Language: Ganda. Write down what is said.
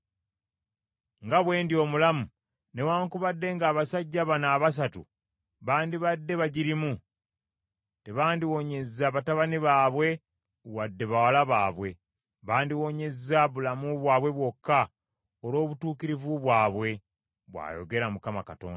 nga bwe ndi omulamu, newaakubadde ng’abasajja bano abasatu bandibadde bagirimu, tebandiwonyezza batabani baabwe wadde bawala baabwe. Bandiwonyeza bulamu bwabwe bwokka olw’obutuukirivu bwabwe, bw’ayogera Mukama Katonda.